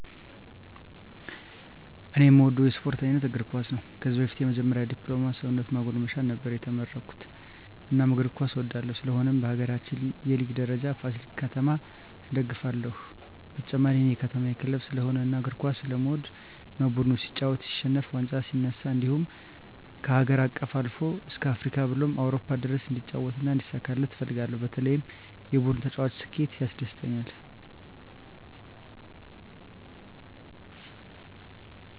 እኔ እምወደው የስፓርት አይነት እግርኳስ ነው ከዚህ በፊት የመጀመሪ ድፕሎማ ሰውነት ማጎልመሻ ነበር የተመረኩት እናም እግር ኳስ እወዳለሁ ስለሆነም በሀገራችን የሊግ ደረጃ ፍሲል ከተማ እደግፍለ ሁ በተጨማሪ እኔ የከተማየ ክለብ ስለሆነ እና እግር ኳስ ስለምወድ ነው ቡድኑ ሲጫወት ሲሸንፍ ዋንጫ ሲነሳ እንድሁም ከሀገር አቀፍ አልፎ እስከ አፍሪካ ብሎም አውሮፓ ድረስ እንዲጫወት እና እንዲሳካለት እፈልጋለሁ በተለይ የቡድኑ ተጫዋች ስኬት ያስደስተኛል።